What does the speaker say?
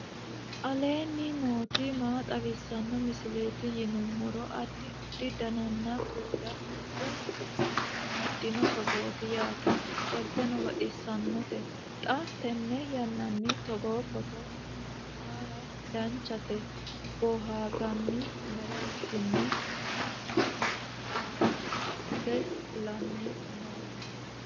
aleenni nooti maa xawisanno misileeti yinummoro addi addi dananna kuula woy biinfille amaddino footooti yaate qoltenno baxissannote xa tenne yannanni togoo footo haara danchate booharanni mereershshinni mannu hare hose fulanni noowe